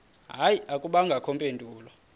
hayi akubangakho mpendulo